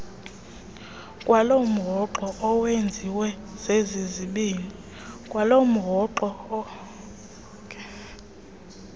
kwalomhoxo owenziwe zezizibini